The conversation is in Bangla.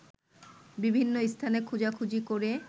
বিভিন্ন স্থানে খোঁজাখুজি করে